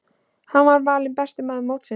Hann var valinn besti maður mótsins.